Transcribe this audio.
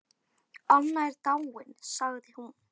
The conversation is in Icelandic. Anna er dáin sagði hún.